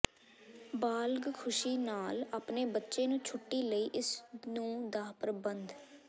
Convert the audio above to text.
ਬਾਲਗ ਖ਼ੁਸ਼ੀ ਨਾਲ ਆਪਣੇ ਬੱਚੇ ਨੂੰ ਛੁੱਟੀ ਲਈ ਇਸ ਨੂੰ ਦਾ ਪ੍ਰਬੰਧ